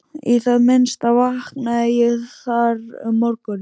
Í það minnsta vaknaði ég þar um morguninn.